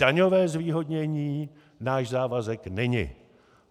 Daňové zvýhodnění náš závazek není.